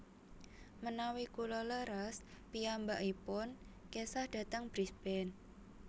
Menawi kula leres piyambakipun kesah dhateng Brisbane